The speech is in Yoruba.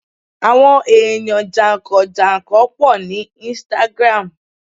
àwọn eyan jankan-jankan po ni Instagram